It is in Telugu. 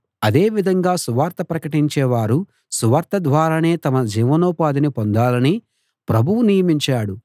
అదే విధంగా సువార్త ప్రకటించేవారు సువార్త ద్వారానే తమ జీవనోపాధిని పొందాలని ప్రభువు నియమించాడు